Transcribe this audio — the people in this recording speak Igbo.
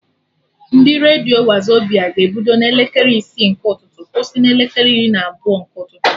Ndị redio Wazobia ga-ebido na elekere isi nke ụtụtụ kwụsị na elekere iri na abụọ nke ụtụtụ